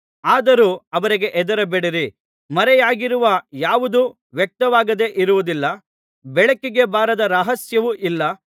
ಆದರೂ ಅವರಿಗೆ ಹೆದರಬೇಡಿರಿ ಮರೆಯಾಗಿರುವ ಯಾವುದೂ ವ್ಯಕ್ತವಾಗದೆ ಇರುವುದಿಲ್ಲ ಬೆಳಕಿಗೆ ಬಾರದ ರಹಸ್ಯವು ಇಲ್ಲ